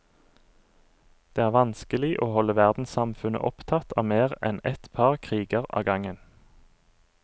Det er vanskelig å holde verdenssamfunnet opptatt av mer enn et par kriger av gangen.